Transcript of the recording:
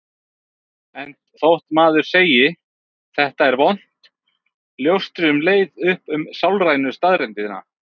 Enda þótt maður sem segi: Þetta er vont ljóstri um leið upp um sálrænu staðreyndina.